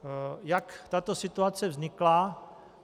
Jak tato situace vznikla?